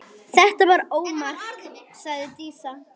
Þetta var ómark, sagði Dísa.